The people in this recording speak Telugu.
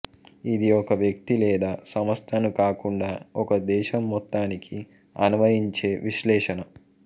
ఇది ఒక వ్యక్తి లేదా సంస్థను కాకుండా ఒక దేశం మొత్తానికి అన్వయించే విశ్లేషణ